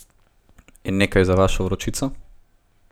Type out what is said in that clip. In nekaj za vašo vročico?